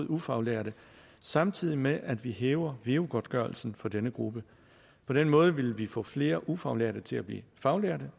ufaglærte samtidig med at vi hæver veu godtgørelsen for denne gruppe på den måde vil vi få flere ufaglærte til at blive faglærte